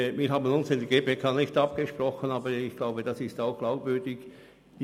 Wir haben uns in der GPK nicht abgesprochen, aber ich glaube, dass es glaubwürdig ist.